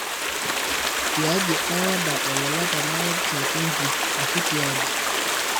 tiaji ai order olola tena website inji ashu tiaji